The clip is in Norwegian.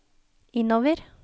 innover